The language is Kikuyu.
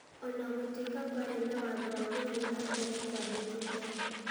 O na gũtuĩka kwarĩ na watho wa gũthiĩ na mbere kũandĩkithia.